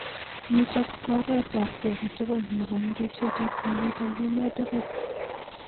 Nitok ko oret ab ki agetugul nekonu ribset ab kaliet eng emet tugul.